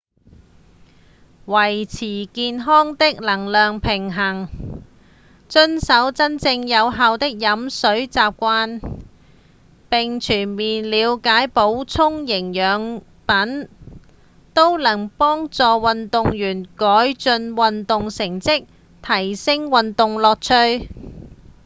維持健康的能量平衡、遵守真正有效的飲水習慣並全面了解補充營養品都能幫助運動員改進運動成績、提升運動樂趣